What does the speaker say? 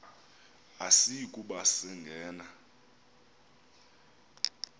asiyi kuba sangena